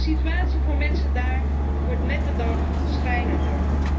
De situatie voor mensen daar wordt met de dag schrijnender.